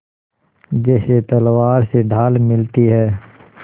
जैसे तलवार से ढाल मिलती है